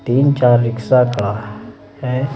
तीन-चार रिक्शा खड़ा है।